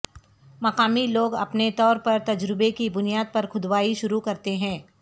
مقامی لوگ اپنے طور پر تجربے کی بنیاد پر کھودائی شروع کرتے ہیں